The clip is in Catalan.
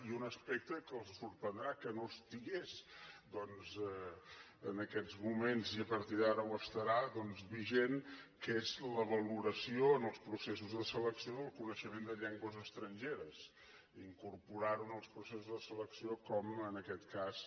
i un aspecte que els sorprendrà que no hi estigués en aquests moments i a partir d’ara ho estarà vigent que és la valoració en els processos de selecció del coneixement de llengües estrangeres incorporar ho en els processos de selecció com en aquest cas